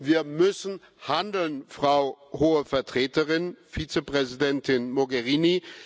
Wir müssen handeln, Frau Hohe Vertreterin, Vizepräsidentin Mogherini!